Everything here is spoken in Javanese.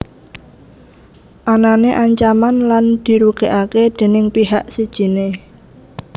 Anané ancaman lan dirugékaké déning pihak sijiné